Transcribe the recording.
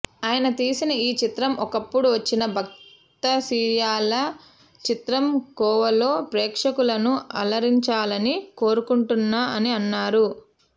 ఆయన తీసిన ఈ చిత్రం ఒకప్పుడు వచ్చిన భక్త సిరియాళ చిత్రం కోవలో ప్రేక్షకులను అలరించాలని కోరుకుంటున్నా అని అన్నారు